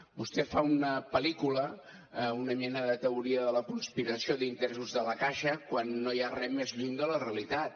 vostè fa una pel·lícula una mena de teoria de la conspiració d’interessos de la caixa quan no hi ha res més lluny de la realitat